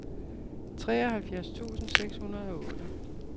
treoghalvfjerds tusind seks hundrede og otte